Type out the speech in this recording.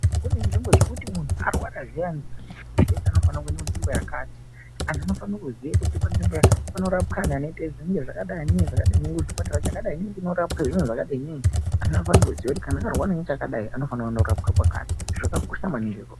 Kune nzvimbo dzekuti muntu arwara zviyani zvinofana kuita nzvimbo zvakati angu anofana kuziya kuti panzvimbo yakati panorapa antu anoita zvinhu zvakadai kuchipatara chakadai kunorapwa zviro zvakadai ngei anofana kuziya kuti kana arwara zvakadai anofana kundoraowa zvakakosha maningi.